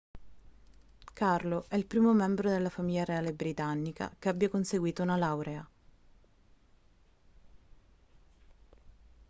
carlo è il primo membro della famiglia reale britannica che abbia conseguito una laurea